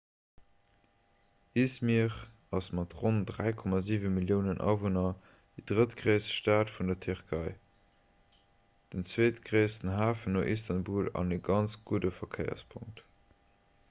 i̇zmir ass mat ronn 3,7 milliounen awunner déi drëttgréisst stad vun der tierkei den zweetgréissten hafen no istanbul an e ganz gudde verkéierspunkt